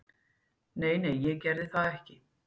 Nei, nei ég gerði það ekki.